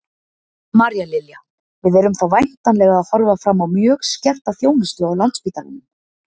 María Lilja: Við erum þá væntanlega að horfa fram á mjög skerta þjónustu á Landspítalanum?